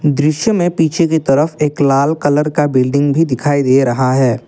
दृश्य में पीछे की तरफ एक लाल कलर का बिल्डिंग भी दिखाई दे रहा है।